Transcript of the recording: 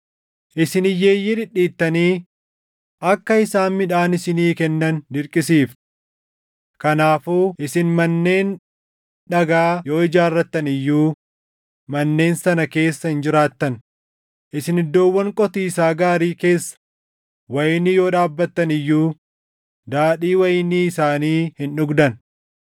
Isin hiyyeeyyii dhidhiittanii akka isaan midhaan isinii kennan dirqisiiftu. Kanaafuu isin manneen dhagaa yoo ijaarrattan iyyuu manneen sana keessa hin jiraattan; isin iddoowwan qotiisaa gaarii keessa wayinii yoo dhaabbattan iyyuu daadhii wayinii isaanii hin dhugdan.